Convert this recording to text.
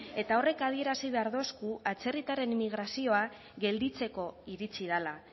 eta horrek adierazi behar dosku atzerritarren immigrazioa gelditzeko iritsi dela